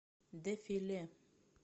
дэфи ле